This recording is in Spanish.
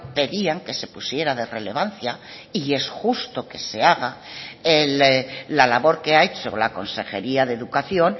pedían que se pusiera de relevancia y es justo que se haga la labor que ha hecho la consejería de educación